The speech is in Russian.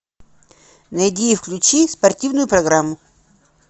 найди и включи спортивную программу